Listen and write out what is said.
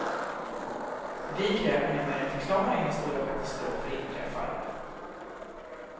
Vi kräver numera en förklaring när stora katastrofer inträffar.